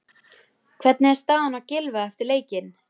Hvernig er staðan á Gylfa eftir leikinn?